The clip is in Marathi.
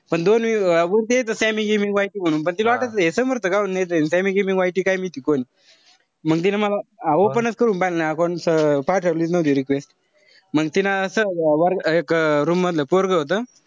पण दोन वरती यायचं sammy gimmy vigour म्हणून पण तिला वाटायचं हे समर्थ गव्हाणेच ए. अन sammy gimmy vigour काई कोण. मंग तिनं मला open च करून पाहिलं नाई account. पाठवलीच नव्हती request. मंग तिनं सहज अं room मधलं पोरगं होत.